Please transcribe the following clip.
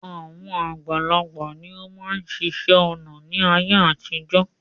Àwọn àgbàlagbà ni ó máa ń ṣiṣẹ́ ọnà ni ayé àtijọ́